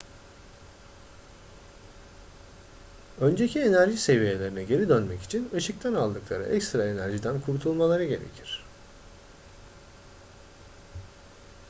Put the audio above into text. önceki enerji seviyelerine geri dönmek için ışıktan aldıkları ekstra enerjiden kurtulmaları gerekir